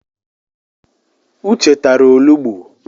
Uche tara olugbu.